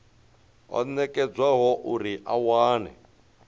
o nekedzwaho uri a wane